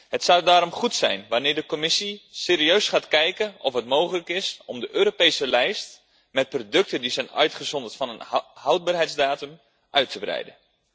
Het zou daarom goed zijn dat de Commissie serieus gaat kijken of het mogelijk is om de Europese lijst met producten die zijn uitgezonderd van een houdbaarheidsdatum, uit te breiden.